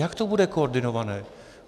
Jak to bude koordinované?